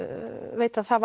veit að það